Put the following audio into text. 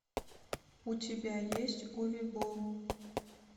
у тебя есть уве болл